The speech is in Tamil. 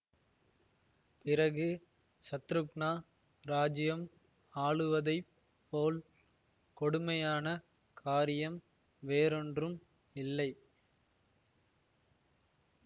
பிறகு சத்ருக்னா இராஜ்யம் ஆளுவதைப் போல் கொடுமையான காரியம் வேறொன்றும் இல்லை